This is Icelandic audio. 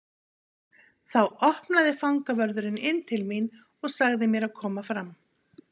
Þá opnaði fangavörðurinn inn til mín og sagði mér að koma fram.